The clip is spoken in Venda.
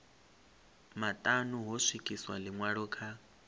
maṱanu ho swikiswa ḽiṅwalo kha